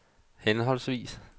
henholdsvis